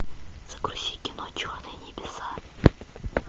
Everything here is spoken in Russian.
загрузи кино черные небеса